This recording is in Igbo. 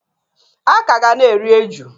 A ka ga na-eri eju.